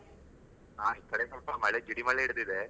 ಹಾ, ಈ ಕಡೆ ಸ್ವಲ್ಪ ಮಳೆ ಜಿಡಿ ಮಳೆ ಹಿಡಿದಿಡಿದೆ.